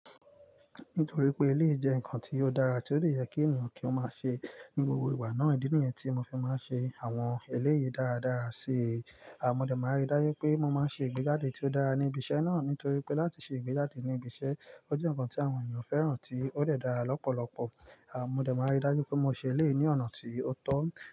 Nítorí pé eléyìí jẹ́ ǹkan tí ó dára tí dè jẹ kí ènìyàn kí ó má ṣe ní gbogbo ìgbà náà. Ìdí nìyẹn tí mo fi máa ń ṣe àwọn eléyìí dára dára si. Ṣé à mo dé máa rí dájú pé mo máa ń ṣe ìgbéjáde tí ó dára ní ibi iṣẹ́ náà? Nítorí pé láti ṣe ìgbéjáde ní ibi iṣẹ́, ó jẹ́ ǹkan tí àwọn ènìyàn fẹ́ràn tí ó dẹ̀ dára lọ́pọ̀lọpọ̀. Àwọn ọmọdé máa rí dájú pé mo ṣe ilé ní ọ̀nà tí ó tọ́.